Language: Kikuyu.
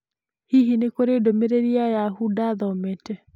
Hihi nĩ kũrĩ ndũmĩrĩri ya Yahoo ndathomete?